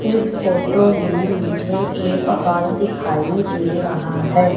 इस फोटो में मुझे एक हाॅल दिखाइ दे रहा है।